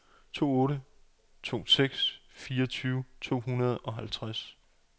to otte to seks fireogtyve to hundrede og halvtreds